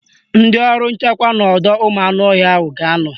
Ndị ọrụ nchekwa n'ọdọụmụanụọhịa ahụ ga-anọ